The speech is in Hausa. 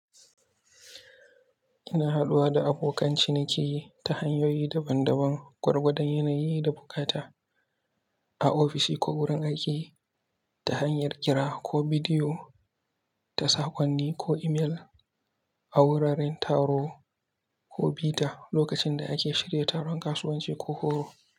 Ina haɗuwa da abokan ciniki ta hanyoyi daban-daban gwargwadon yanayi da buƙata, a ofishi ko wurin aiki ta hanyar kira ko bidiyo ta sakonni ko imel, a wuraren taro ko bita lokacin da ake shirya taron kasuwanci ko horo.